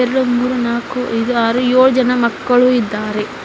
ಇಲ್ಲಿ ಮೂರು ನಾಲ್ಕು ಐದು ಆರು ಏಳು ಜನ ಮಕ್ಕಳು ಇದ್ದಾರೆ.